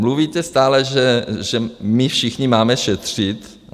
Mluvíte stále, že my všichni máme šetřit.